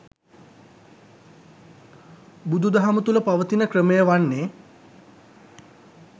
බුදුදහම තුළ පවතින ක්‍රමය වන්නේ